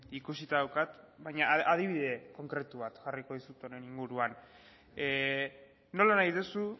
ikusita daukat baina adibide konkretu bat jarriko dizut honen inguruan nola nahi duzu